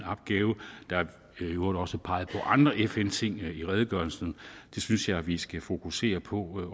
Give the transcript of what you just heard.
opgave der er i øvrigt også peget på andre fn ting i redegørelsen det synes jeg at vi skal fokusere på